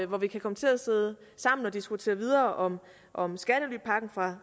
hvor vi kan komme til at sidde sammen og diskutere videre om om skattelypakken fra